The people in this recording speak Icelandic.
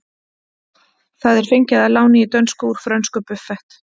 Það er fengið að láni í dönsku úr frönsku buffet.